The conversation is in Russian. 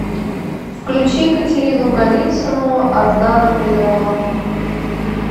включи катерину голицыну одна на миллион